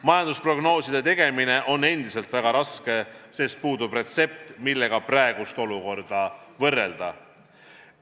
Majandusprognooside tegemine on endiselt väga raske, sest puudub retsept, millega praegust olukorda võrrelda.